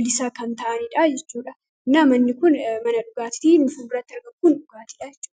bilisa kan ta'anidha jechuudha. Nama inni kun mana dhugaatiiti, inni fuulduratti argamu kun dhugaatiidha jechuudha.